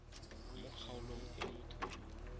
mo kgaolong e motho yo